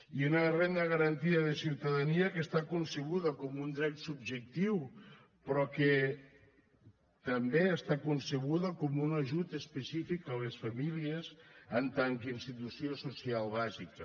i una renda garantida de ciutadania que està concebuda com un dret subjectiu però que també està concebuda com un ajut específic a les famílies en tant que institució social bàsica